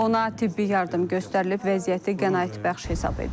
Ona tibbi yardım göstərilib, vəziyyəti qənaətbəxş hesab edilir.